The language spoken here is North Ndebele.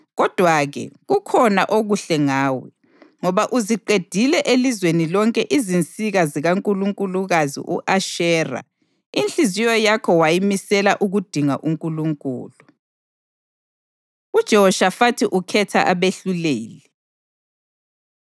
Kodwa-ke kukhona okuhle ngawe, ngoba uziqedile elizweni lonke izinsika zikankulunkulukazi u-Ashera, inhliziyo yakho wayimisela ukudinga uNkulunkulu.” UJehoshafathi Ukhetha Abehluleli